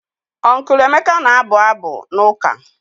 Uncle Emeka na-abụ abụ n'ụka.